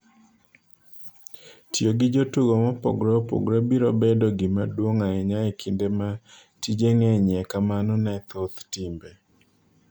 Tiyo gi jotugo mopogore opogore biro bedo gima duong' ahinya e kinde ma tije ng'enyie kamano ne thoth timbe.